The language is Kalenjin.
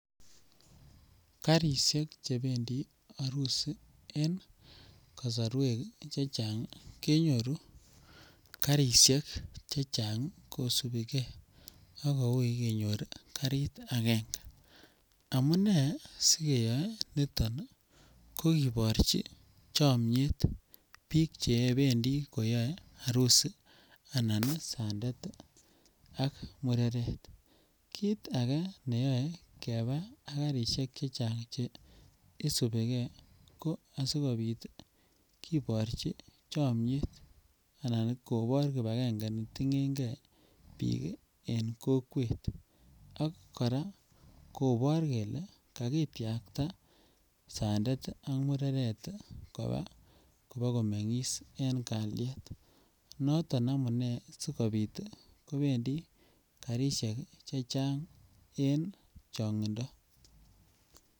Karisiek chebendi arusi en kasarwek che chang kenyoru karisiek che chang kosubi ke ak ko ui sikenyor karit agenge. Amune sikeyoe niton kokiborchi chomyet biik chebendi koyae arusi anan sandet ak mureret. Kit age neyoe keba ak karisiek che chang che isubike ko asikopit kiborchi chomyet anan kobor kibakenge ne ningenge biik en kokwet ak kora kobor kele kakitiakta sandet ak mureret koba koba komengis en kalyet. Noton amune sigopit kobendi karisiek chechang en chongindo.